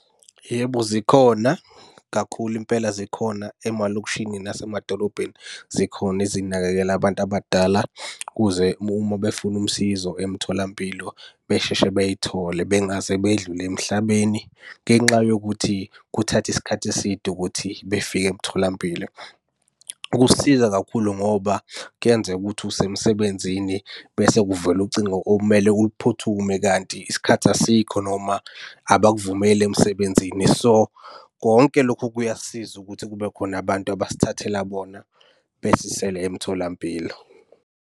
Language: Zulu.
Yebo, zikhona kakhulu impela zikhona emalokishini nasemadolobheni zikhona ezinakekela abantu abadala ukuze uma befuna usizo emtholampilo besheshe bey'thole. Bengaze bedlule emhlabeni ngenxa yokuthi kuthatha isikhathi eside ukuthi befike emtholampilo. Kusisiza kakhulu ngoba kuyenzeka ukuthi usemsebenzini bese kuvele ucingo okumele uphuthume kanti isikhathi asikho noma abakuvumeli emsebenzini. So, konke lokhu kuyasiza ukuthi kube khona abantu abasithathela bona besisele emtholampilo.